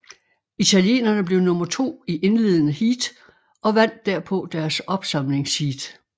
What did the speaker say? Italienerne blev nummer to i indledende heat og vandt derpå deres opsamlingsheat